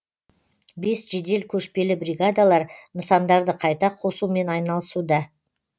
бес жедел көшпелі бригадалар нысандарды қайта қосумен айналысуда